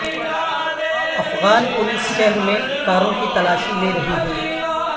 Afghan police شہر میں کاروں کی تلاشی لے رہی ہے